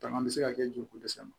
Tama bɛ se ka kɛ joli ko dɛsɛ ma